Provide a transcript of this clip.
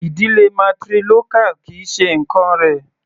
Ìdílé matrilocal kì í ṣe nǹkán rẹ̀.